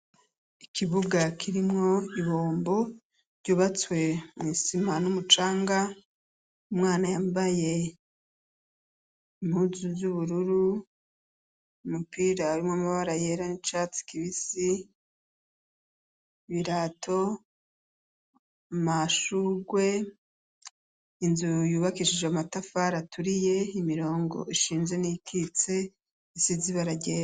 Ikibuga kirimwo ibombo ryubatswe mu isima n'umucanga .Umwana yambaye impuzu zubururu mupira arimwe amabara yera n catsi kibisi ibirato. Amashurwe inzu yubakishije amatafari aturiye imirongo ishinje n'ikitse isizibara ryera.